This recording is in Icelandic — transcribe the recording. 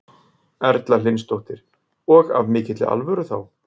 Erla Hlynsdóttir: Og af mikilli alvöru þá?